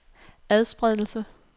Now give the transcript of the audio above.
adspredelse